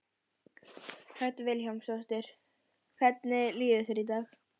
Hödd Vilhjálmsdóttir: Hvernig líður þér í dag?